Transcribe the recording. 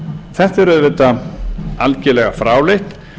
þetta er auðvitað algerlega fráleitt